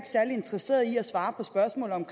særlig interesseret i at svare på spørgsmålet om